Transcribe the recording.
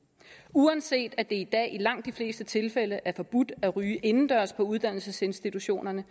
uanset at det i dag i langt de fleste tilfælde er forbudt at ryge indendørs på uddannelsesinstitutionerne